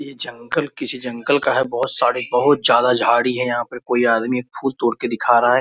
ये जंगल किसी जंगल का है बहुत सारे बहुत ज्यादा झाड़ी है यहाँ पे कोई आदमी एक फूल तोड़ के दिख रहा है।